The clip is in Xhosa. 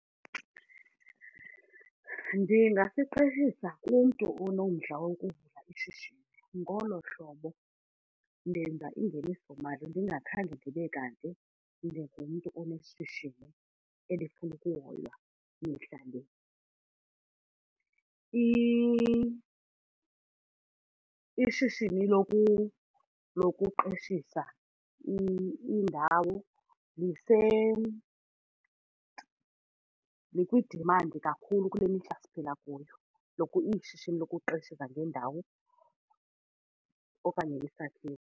Ndingasiqeshisa kumntu onomdla wokuvula ishishini. Ngolo hlobo ndenza ingenisomali ndingakhange ndibe kanti ndingumntu oneshishini elifuna ukuhoywa mihla le. Ishishini lokuqeshisa indawo likwi-demand kakhulu kule mihla siphila kuyo, ishishini lokuqeshisa ngendawo okanye isakhiwo.